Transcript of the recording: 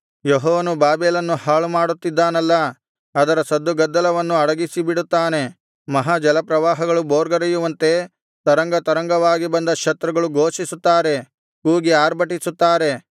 ಯೆಹೋವನು ಬಾಬೆಲನ್ನು ಹಾಳುಮಾಡುತ್ತಿದ್ದಾನಲ್ಲಾ ಅದರ ಸದ್ದುಗದ್ದಲವನ್ನು ಅಡಗಿಸಿಬಿಡುತ್ತಾನೆ ಮಹಾ ಜಲಪ್ರವಾಹಗಳು ಭೋರ್ಗರೆಯುವಂತೆ ತರಂಗತರಂಗವಾಗಿ ಬಂದ ಶತ್ರುಗಳು ಘೋಷಿಸುತ್ತಾರೆ ಕೂಗಿ ಆರ್ಭಟಿಸುತ್ತಾರೆ